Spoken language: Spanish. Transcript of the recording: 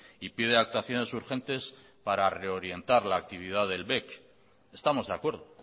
y pide actuaciones urgentes para reorientar la actividad del bec estamos de acuerdo